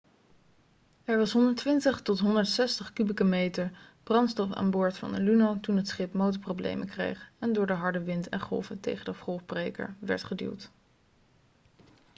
er was 120-160 kubieke meter brandstof aan boord van de luno toen het schip motorproblemen kreeg en door de harde wind en golven tegen de golfbreker werd geduwd